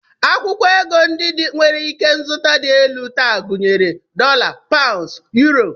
Akwụkwọ ego ndị nwere ikenzụta dị elu taa gụnyere dọla, paụnds, yuro